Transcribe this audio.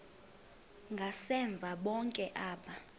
ngasemva bonke aba